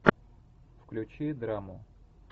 включи драму